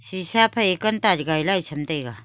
sisha phai canter gaila tham taiga.